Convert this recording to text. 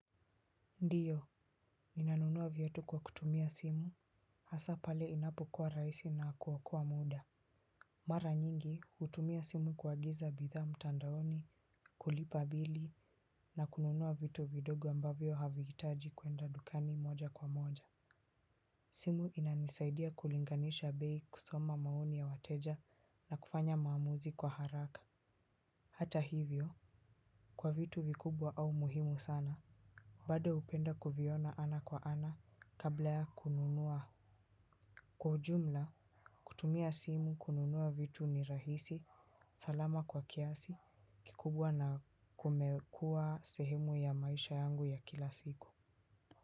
Ndiyo, ninanunua viatu kwa kutumia simu, hasa pale inapo kuwa rahisi na kuokoa muda. Mara nyingi, hutumia simu kuagiza bidhaa mtandaoni, kulipa bili na kununuwa vitu vidogo ambavyo havihitaji kwenda dukani moja kwa moja. Simu inanisaidia kulinganisha bei, kusoma maoni ya wateja na kufanya maamuzi kwa haraka hata hivyo, kwa vitu vikubwa au muhimu sana. Bado hupenda kuviona ana kwa ana kabla ya kununua kwa ujumla, kutumia simu kununua vitu ni rahisi, salama kwa kiasi kikubwa na kumekua sehemu ya maisha yangu ya kila siku.